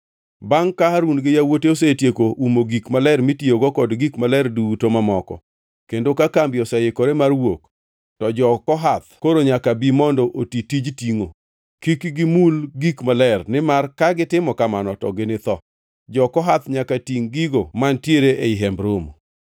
“Bangʼ ka Harun gi yawuote osetieko umo gik maler mitiyogo kod gik maler duto mamoko, kendo ka kambi oseikore mar wuok, to jo-Kohath koro nyaka bi mondo oti tij tingʼo. Kik gimul gik maler, nimar ka gitimo kamano to ginitho. Jo-Kohath nyaka tingʼ gigo mantiere ei Hemb Romo.